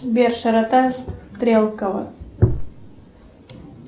сбер широта стрелково